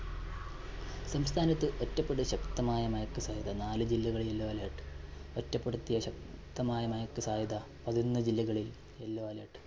സംസ്ഥാനത്ത് ഒറ്റപെട് ശക്തമായ മഴയ്ക്ക് സാധ്യത. നാലു ജില്ലകളില്‍ yellow alert. ഒറ്റപ്പെടുത്തിയ ശക്തമായ മഴയ്ക്ക് സാധ്യത പതിനൊന്നു ജില്ലകളില്‍ yellow alert.